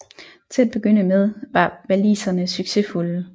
Til at begynde med var waliserne succesfulde